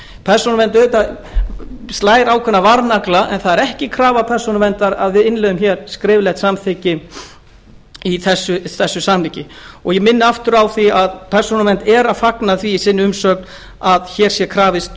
persónuvernd slær auðvitað ákveðna varnagla en það er ekki krafa persónuverndar að við innleiðum hér skriflegt samþykki í þessu samhengi ég minni aftur á að persónuvernd fagnar því í umsögn sinni að hér sé krafist